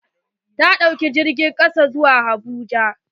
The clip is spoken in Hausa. Ta ɗauka jirgin ƙasa zuwa abuja